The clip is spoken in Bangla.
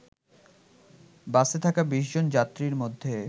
বাসে থাকা ২০ জন যাত্রীর মধ্যে